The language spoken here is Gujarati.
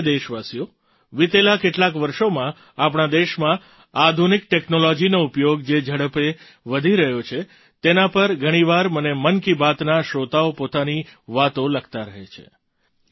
મારા પ્રિય દેશવાસીઓ વિતેલાં કેટલાંક વર્ષોમાં આપણા દેશમાં આધુનિક ટૅક્નૉલૉજીનો ઉપયોગ જે ઝડપે વધી રહ્યો છે તેના પર ઘણી વાર મને મન કી બાતના શ્રોતાઓ પોતાની વાતો લખતા રહે છે